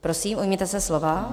Prosím, ujměte se slova.